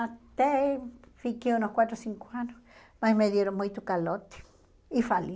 Até fiquei uns quatro, cinco anos, mas me deram muito calote e fali.